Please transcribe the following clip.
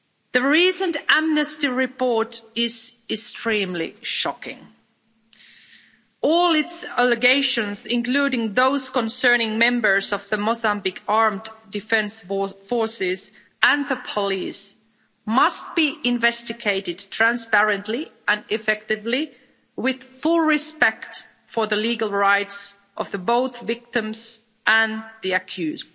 The recent Amnesty report is extremely shocking. All its allegations, including those concerning members of the Mozambique armed defence forces and the police, must be investigated transparently and effectively, with full respect for the legal rights of both the victims and the accused.